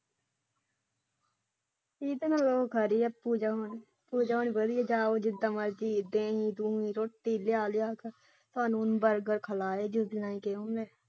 ਖਾਲੀ ਹੱਥ ਜਾਵਾ ਜਾਓ ਜਿਹਦਾ ਮਰਜ਼ੀ ਦੁੱਧ ਦਹੀ ਲਿਆ ਲਿਆ ਕੇ ਬਰਗਰ ਖਾ ਲਾਏ ਜੇ।